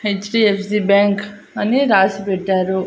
HDFC bank అని రాసి పెట్టారు.